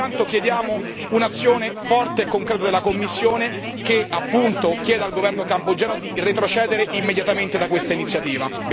Pertanto chiediamo un'azione forte e concreta della Commissione, che chieda al governo cambogiano di retrocedere immediatamente da questa iniziativa.